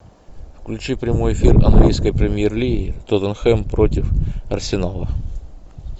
включи прямой эфир английской премьер лиги тоттенхэм против арсенала